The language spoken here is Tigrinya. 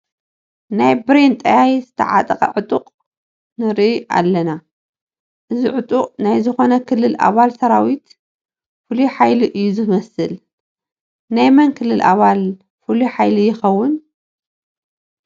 ናይ ብሬን ጠያይት ዝተዓጠቐ ዕጡቕ ንርኢ ኣለና፡፡ እዚ ዕጡቕ ናይ ዝኾነ ክልል ኣባል ሰራዊት ፍሉይ ሓይሊ እዩ ዝመስል፡፡ ናይ መን ክልል ኣባል ፍሉይ ሓይሊ ይኸውን?